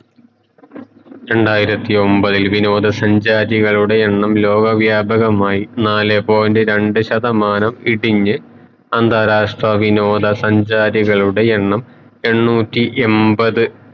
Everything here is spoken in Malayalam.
രണ്ടായിരത്തി ഒമ്പതിൽ വിനോദ സഞ്ചാരികളുടെ എണ്ണം ലോകവ്യാപകമായി നാലേ point രണ്ട് ശതമാനം ഇടിഞ്ഞ് അന്താരാഷ്ട്ര വിനോദ സഞ്ചാരികളുടെ എണ്ണം എണ്ണൂറ്റി എൺപത്